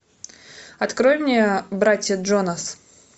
открой мне братья джонас